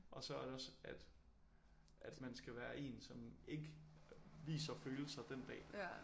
Og så er det også at at man skal være en som ikke viser følelser den dag